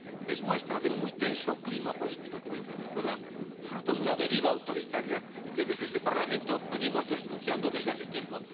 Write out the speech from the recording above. Es muestra del muy tenso clima político que vive Venezuela, fruto de una deriva autoritaria que desde este Parlamento venimos denunciando desde hace tiempo.